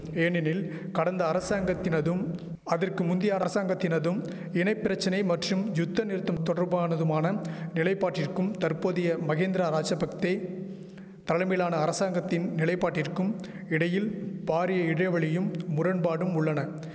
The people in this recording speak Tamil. ஏனெனில் கடந்த அரசாங்கத்தினதும் அதற்கு முந்தைய அரசாங்கத்தினதும் இன பிரச்சனை மற்றும் யுத்தநிறுத்தம் தொடர்பானதுமான நிலைபாட்டிற்கும் தற்போதைய மகிந்திரா ராஜபக்தே தலைமையிலான அரசாங்கத்தின் நிலைபாட்டிற்கும் இடையில் பாரிய இடைவெளியும் முரண்பாடும் உள்ளன